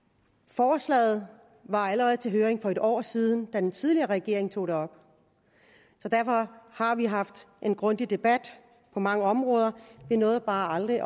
forslaget var allerede til høring for en år siden da den tidligere regering tog det op så derfor har vi haft en grundig debat på mange af områderne vi nåede bare aldrig